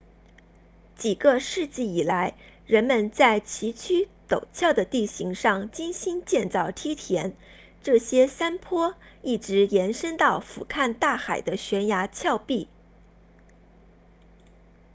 几个世纪以来人们在崎岖陡峭的地形上精心建造梯田这些山坡一直延伸到俯瞰大海的悬崖峭壁